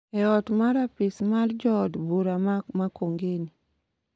e ot mar apis mar jo od bura ma Makongeni,